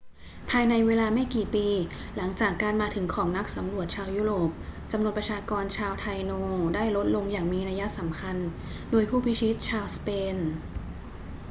ภายในเวลาไม่กี่ปี หลังจากการมาถึงของนักสำรวจชาวยุโรปจำนวนประชากรชาวไทโนได้ลดลงอย่างมีนัยสำคัญโดยผู้พิชิตชาวสเปน